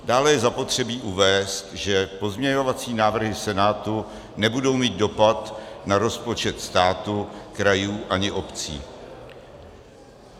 Dále je zapotřebí uvést, že pozměňovací návrhy Senátu nebudou mít dopad na rozpočtu státu, krajů ani obcí.